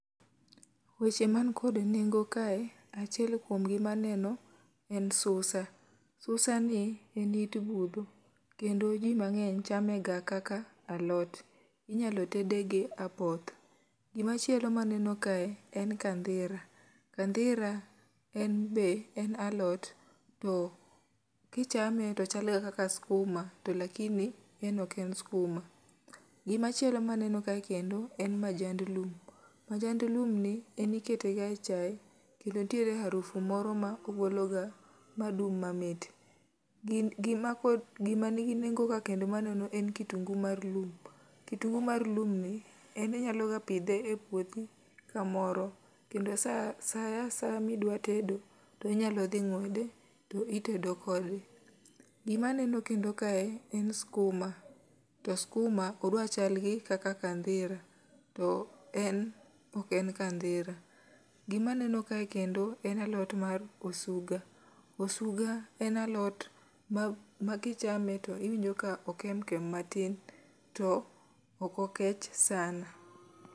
Weche man koda nengo kae, achiel kuom gi maneno en susa. Susa ni en it budho, kendo ji mang'eny chame ga kaka alot, inyalo tede gi apoth. Gimachielo maneno kae, en kandhira, kandhira en be en alot, to kichame tochal ga kaka skuma to lakini en ok en skuma. Gimachielo maneno kae kendo en majand lum, majand lum ni, en ikete ga e chae, kendo ntiere harufu moro ma ogolo ga ma dung' mamit. Gin gima pod gima nigi nengo ka kendo maneno en kitungu mar lum, kitungu mar lum ni en inyalo ga pidhe e puothi kamoro. Kendo sa sa saya midwa tedo, to inyalo dhi ng'wede to itedo kode. Gima neno kendo kae en skuma, to skuma odwa chal gi kaka kandhira, to en ok en kandhira. Gima neno kae kendo en alot mar osuga, osuga en alot ma kichame to iwinjo ka okem kem matin to okokech sana.